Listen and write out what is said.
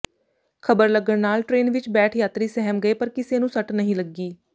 ਪੱਥਰ ਲੱਗਣ ਕਾਰਨ ਟਰੇਨ ਵਿਚ ਬੈਠ ਯਾਤਰੀ ਸਹਿਮ ਗਏ ਪਰ ਕਿਸੇ ਨੂੰ ਸੱਟ ਨਹੀਂ ਲੱਗੀ